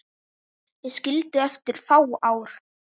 Þau skildu eftir fá ár.